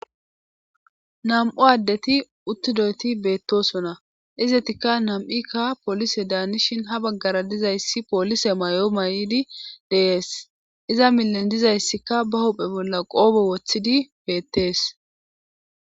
Nam7u addeti uttidoyti beettosona izetikka nam7ikka poolise daanishin ha baggara dizayssi poolise may7o may7di de'ees iza millen dizayssikka ba hophe bolla qoobo woththidi beettees.